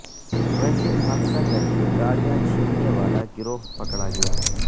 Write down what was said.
traffic حادثہ کرکے گاڑیاں چھیننے والا گروہ پکڑا گیا